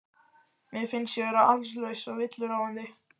Mér finnst ég vera allslaus og villuráfandi.